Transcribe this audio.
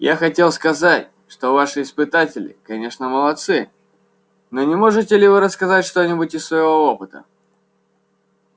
я хотел сказать что ваши испытатели конечно молодцы но не можете ли вы рассказать что-нибудь из своего опыта